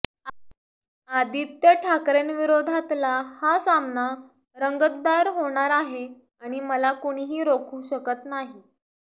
आदित्य ठाकरेंविरोधातला हा सामना रंगतदार होणार आहे आणि मला कुणीही रोखू शकत नाही